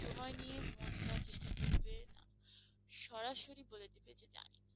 সময় নিয়ে মনে করার চেষ্টা করবে না, সরাসরি বলে দেবে যে জানি।